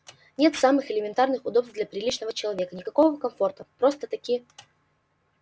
нет самых элементарных удобств для приличного человека никакого комфорта просто-таки